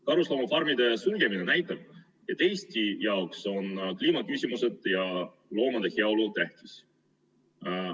Karusloomafarmide sulgemine näitab, et Eesti jaoks on kliimaküsimused ja loomade heaolu tähtis.